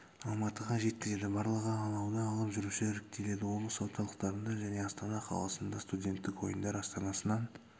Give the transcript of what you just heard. алматыға жеткізеді барлығы алауды алып жүруші іріктеледі облыс орталықтарында және астана қаласында студенттік ойындар астанасынан